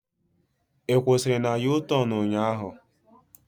Ị kwusiri na u-tornu ụnyaahụ?